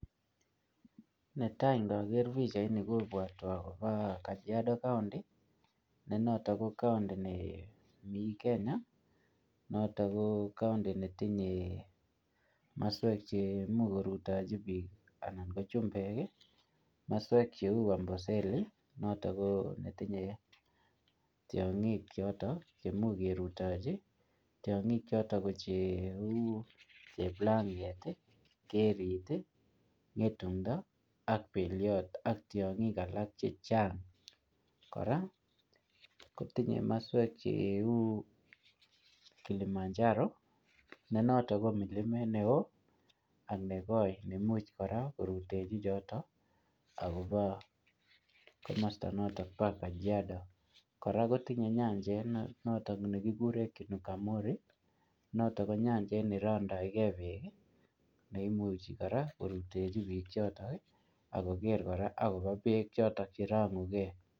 Netai ndiker pichaini kobwotwon akopo Kajiando county nenotok ko county nemi kenya notok koo county netinye moswek cheimuch korutechi biik ana ko chumbek moswek cheu Amboseli noto koo netinye tiong'ik chemuch kerutochi tiong'ichoto ko cheu Cheplanget, Kerit, Ng'etundo, ak Beliot ak tiong'ik alak chechang, kora kotinye maswek cheu Kilimanjaro nenot ko milimet neo ak nekoi nemuch kora korutochi chotok akopo komosta noto po kajiado, kora kotinye nyanjet notok nekikuren kinukamori notok ko nyanjet nerondokee beek ii neimuch kora korutechi biik choto akokere kora akopo beek choto cherong'uke.